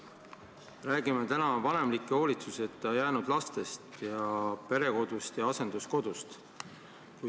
Me räägime täna vanemliku hoolitsuseta jäänud lastest ning perekodust ja asenduskodust.